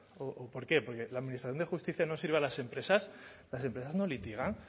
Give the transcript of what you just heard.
o por qué porque la administración de justicia no sirve a las empresas las empresas no litigan